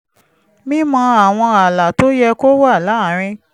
mímọ àwọn ààlà tó yẹ kó wà láàárín